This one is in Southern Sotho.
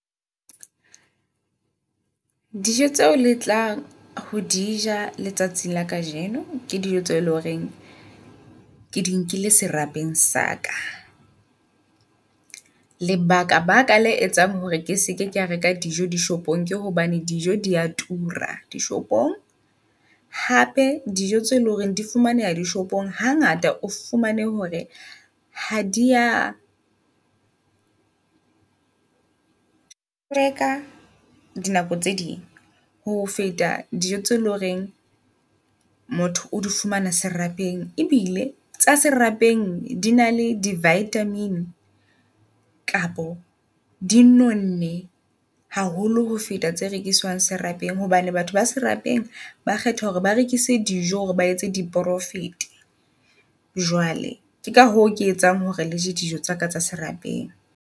Dijo tseo le tlang ho dija letsatsing la kajeno, ke dijo tseo eleng horeng ke di nkile serapeng saka. Lebaka baka le etsang hore ke seke kea reka dijo di shopong ke hobane dijo dia tura di shopong. Hape dijo tse leng hore di fumaneha di shopong ha ngata o fumane hore ha dia hlweka dinako tse ding ho feta dijo tse loreng motho o di fumana serapeng. Ebile tsa di serapeng di na le di vitamin kapo di nonne haholo ho feta tse rekissang serapeng. Hobane batho ba serapeng ba kgetha hore ba rekise dijo hore ba etse di profit. Jwale ke ka hoo ke etsang hore le je dijo tsaka tsa serapeng.